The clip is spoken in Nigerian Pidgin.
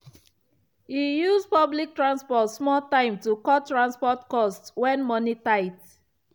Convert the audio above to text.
e use public transport small time to cut transport cost when money tight.